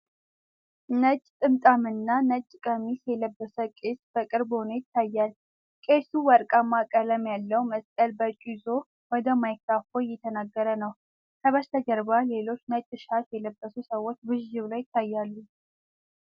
ነጭ ጥምጣምና ነጭ ቀሚስ የለበሰ ቄስ በቅርብ ሆኖ ይታያል። ቄሱ ወርቃማ ቀለም ያለውን መስቀል በእጁ ይዞ ወደ ማይክሮፎን እየተናገረ ነው። ከበስተጀርባ ሌሎች ነጭ ሻሽ የለበሱ ሰዎች ብዥ ብለው ይታያሉ።